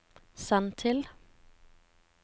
send til